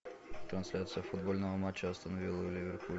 трансляция футбольного матча астон вилла ливерпуль